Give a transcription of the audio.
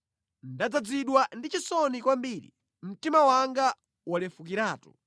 Ndadzazidwa ndi chisoni kwambiri, mtima wanga walefukiratu.